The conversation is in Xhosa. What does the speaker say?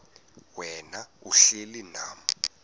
wena uhlel unam